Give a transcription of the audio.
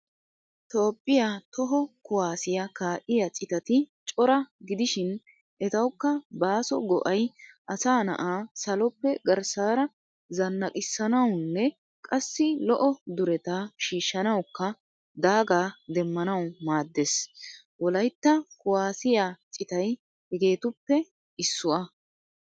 Toophphiyaa toho kuwasiyaa ka'iyaa citati cora gidishin etawukka baaso go'ay asa na'aa saloppe garssaara zanaqisanawunne qassi lo'o duretta shiishanawukka daaga demmanawu maadees. Wolaytta kuwasiyaa citay hegetuppe issuwaa.